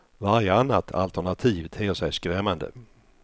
Varje annat alternativ ter sig skrämmande.